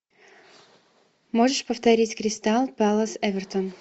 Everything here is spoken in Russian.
можешь повторить кристал пэлас эвертон